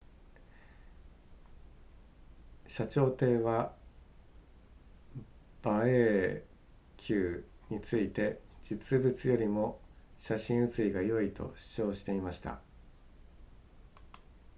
謝長廷は馬英九について実物よりも写真写りが良いと主張していました